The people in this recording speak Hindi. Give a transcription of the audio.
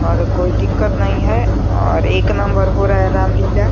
और कोई दिक्कत नहीं है और एक नंबर हो रहा है रामलीला।